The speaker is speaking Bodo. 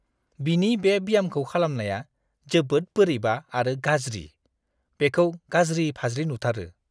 बिनि बे ब्यामखौ खालामनाया जोबोद बोरैबा आरो गाज्रि, बेखौ गाज्रि-फाज्रि नुथारो।